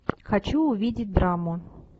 хочу увидеть драму